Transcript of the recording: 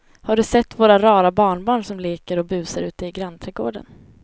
Har du sett våra rara barnbarn som leker och busar ute i grannträdgården!